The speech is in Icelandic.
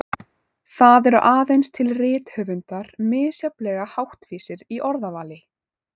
Það eru aðeins til rithöfundar misjafnlega háttvísir í orðavali.